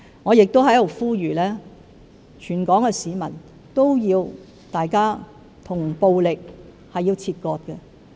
我亦在此呼籲，全港市民要與暴力切割。